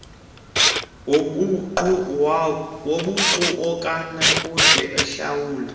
wobuqu akanakude ahlawule